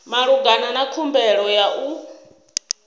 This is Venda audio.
malugana na khumbelo ya u